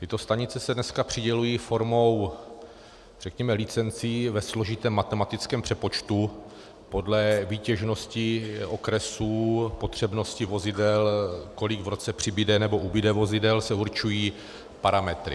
Tyto stanice se dneska přidělují formou, řekněme, licencí ve složitém matematickém přepočtu podle výtěžnosti okresů, potřebnosti vozidel, kolik v roce přibude nebo ubude vozidel, se určují parametry.